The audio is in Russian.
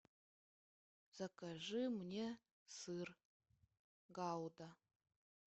закажи мне сыр гауда